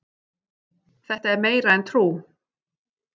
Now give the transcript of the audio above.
Þetta er meira en trú